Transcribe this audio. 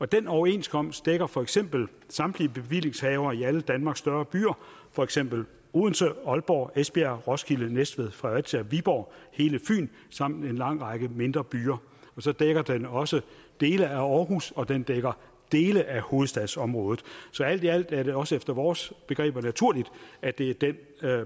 den overenskomst dækker for eksempel samtlige bevillingshavere i alle danmarks større byer for eksempel odense aalborg esbjerg roskilde næstved fredericia viborg og hele fyn samt en lang række mindre byer så dækker den også dele af århus og den dækker dele af hovedstadsområdet så alt i alt er det også efter vores begreber naturligt at det er den